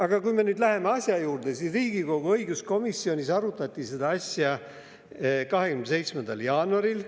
Aga kui me nüüd läheme eelnõu juurde, siis Riigikogu õiguskomisjonis arutati seda 27. jaanuaril.